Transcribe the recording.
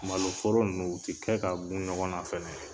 Malo foro ninnu o tɛ kɛ ka gun ɲɔgɔn na fɛnɛ.